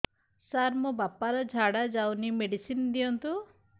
ସାର ମୋର ବାପା ର ଝାଡା ଯାଉନି ମେଡିସିନ ଦିଅନ୍ତୁ